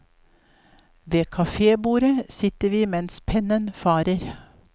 Ved kafebordet sitter vi mens pennen farer.